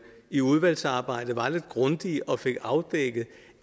i udvalgsarbejdet var lidt grundige og fik afdækket